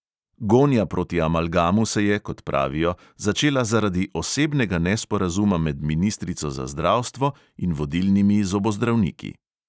Gonja proti amalgamu se je, kot pravijo, začela zaradi osebnega nesporazuma med ministrico za zdravstvo in vodilnimi zobozdravniki.